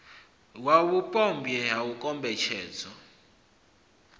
wau vhupombwe ha u kombetshedzwa